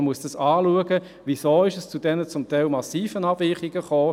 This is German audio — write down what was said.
Man muss anschauen, warum es zu diesen teilweise massiven Abweichungen kam.